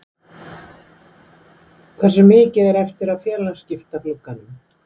Hversu mikið er eftir af félagaskiptaglugganum?